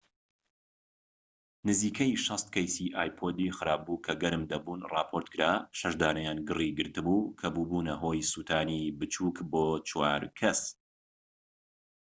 نزیکەی ٦٠ کەیسی ئایپۆدی خراپبوو کە گەرم دەبوون راپۆرتکرا، و شەش دانەیان گری گرتبوو کە بووبونە هۆی سوتانی بچوك بۆ چوار کەس